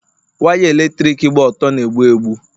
waya eletrik gba ọtọ na-egbu egbu